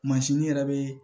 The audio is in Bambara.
yɛrɛ bɛ